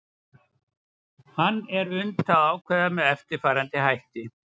hann er unnt að ákvarða með eftirfarandi hætti